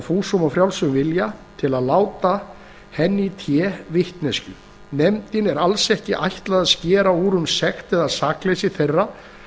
fúsum og frjálsum vilja til að láta henni í té vitneskju nefndinni er alls ekki ætlað að skera úr um sekt eða sakleysi þeirra